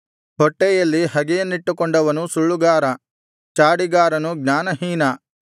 ಹೊಟ್ಟೆಯಲ್ಲಿ ಹಗೆಯನ್ನಿಟ್ಟುಕೊಂಡವನು ಸುಳ್ಳುಗಾರ ಚಾಡಿಗಾರನು ಜ್ಞಾನಹೀನ